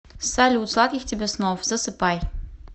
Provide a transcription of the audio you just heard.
салют сладких тебе снов засыпай